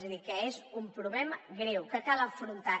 és a dir que és un problema greu que cal afrontar